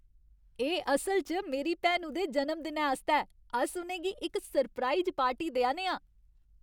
एह् असल च मेरी भैनु दे जनमदिनै आस्तै ऐ। अस उ'नें गी इक सरप्राइज पार्टी देआ ने आं ।